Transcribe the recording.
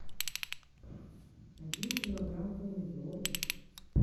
один килограмм помидор